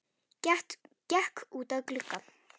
Gekk út að glugga.